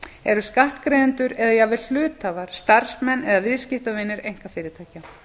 eru skattgreiðendur eða jafnvel hluthafar starfsmenn eða viðskiptavinir einkafyrirtækja